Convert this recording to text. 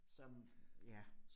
Som ja